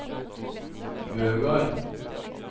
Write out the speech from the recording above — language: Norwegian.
Bøgard